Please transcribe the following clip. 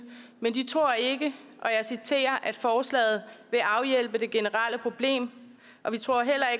men de tror ikke at forslaget vil afhjælpe det generelle problem